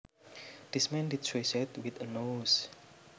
This man did suicide with a noose